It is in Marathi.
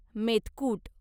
मेतकूट